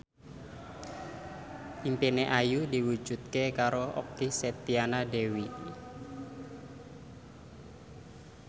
impine Ayu diwujudke karo Okky Setiana Dewi